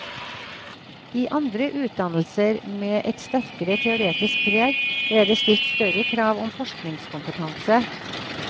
I andre utdannelser, med et sterkere teoretisk preg, ble det stilt større krav om forskningskompetanse.